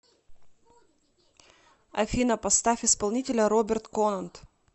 афина поставь исполнителя роберт конант